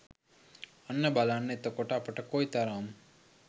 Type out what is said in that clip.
අන්න බලන්න එතකොට අපට කොයිතරම්